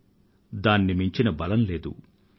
ఎందుకంటే ఉత్సాహాన్ని మించింది ఏదీ లేదు